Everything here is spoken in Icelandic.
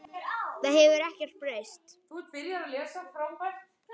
Það hefur ekkert breyst.